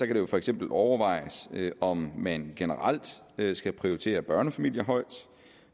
det for eksempel overvejes om man generelt skal prioritere børnefamilier højt